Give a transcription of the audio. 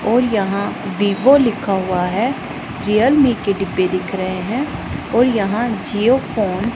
और यहां वीवो लिखा हुआ है रियलमी के डिब्बे दिख रहे हैं और यहां जियो फोन --